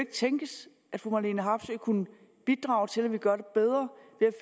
tænkes at fru marlene harpsøe kunne bidrage til at vi gør det bedre